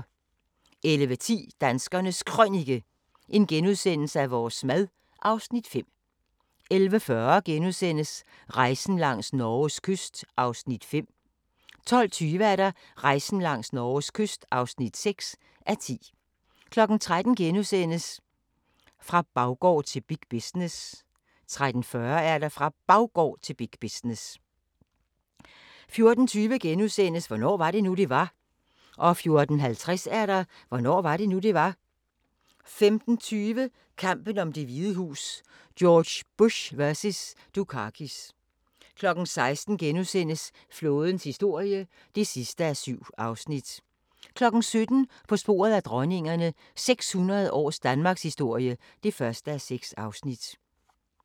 11:10: Danskernes Krønike - vores mad (Afs. 5)* 11:40: Rejsen langs Norges kyst (5:10)* 12:20: Rejsen langs Norges kyst (6:10) 13:00: Fra baggård til big business * 13:40: Fra Baggård til big business 14:20: Hvornår var det nu, det var? * 14:50: Hvornår var det nu, det var? 15:20: Kampen om Det Hvide Hus: George Bush vs. Dukakis 16:00: Flådens historie (7:7)* 17:00: På sporet af dronningerne – 600 års danmarkshistorie (1:6)